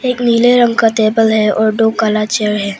नीले रंग का टेबल है और दो काला चेयर है।